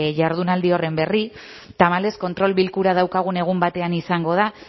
jardunaldi horren berri tamalez kontrol bilkura daukagun egun batean izango da